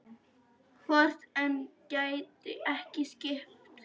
Hvort hann gæti ekki skipt?